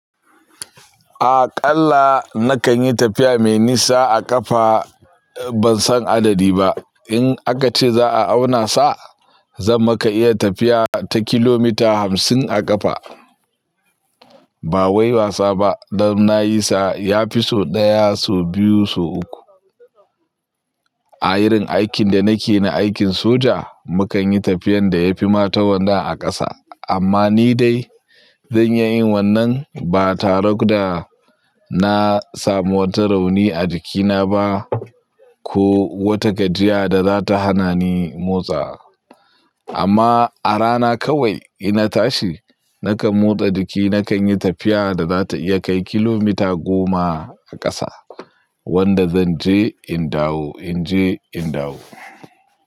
Aƙalla nakan yi tafiya mai nisa a ƙafa ban san adadi ba. In aka ce za a auna sa, zan maka iya tafiya ta kilomita hamsin a ƙafa. Ba wai wasa ba, dan na yi sa ya fi so ɗaya, so biyu, so uku. A irin aikin da nake na, aikin soja, mukan yi tafiyan da yafi mata wannan a ƙasa. Amma ni dai zan iya yin wannan ba tare da na samu wata rauni a jikina ba ko wata gajiya da za ta hana ni motsa. Amma a rana kawai ina tashi, nakan motsa jiki, nakan yi tafiya da za ta iya kai kilomita goma a ƙasa, wanda zan je in dawo, in je in dawo.